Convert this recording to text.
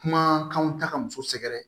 Kumakanw ta ka muso sɛgɛrɛ